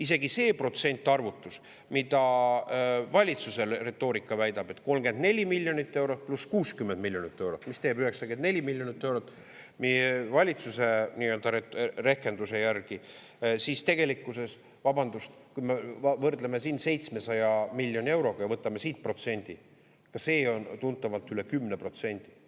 Isegi see protsentarvutus, mida valitsuse retoorika väidab, et 34 miljonit eurot pluss 60 miljonit eurot, mis teeb 94 miljonit eurot meie valitsuse rehkenduse järgi, siis tegelikkuses, vabandust, kui me võrdleme 700 miljoni euroga ja võtame siit protsendi, see on tuntavalt üle 10%.